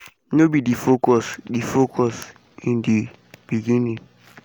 no be di focus di focus in di beginning.